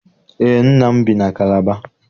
Eé, nna m bi na Kalaba.